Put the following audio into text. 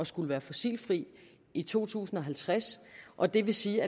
skulle være fossilfri i to tusind og halvtreds og det vil sige